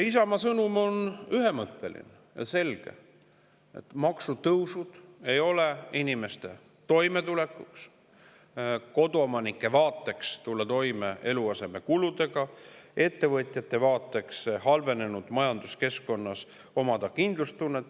Isamaa sõnum on ühemõtteline ja selge: maksutõusud ei inimeste toimetulekut, koduomanike vaates eluasemekuludega toime tulemist ja ettevõtjate vaates kindlustunnet halvenenud majanduskeskkonnas.